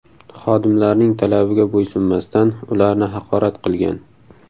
xodimlarning talabiga bo‘ysunmasdan, ularni haqorat qilgan.